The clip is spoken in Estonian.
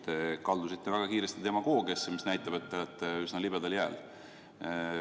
Te kaldusite väga kiiresti demagoogiasse, mis näitab, et te olete üsna libedal jääl.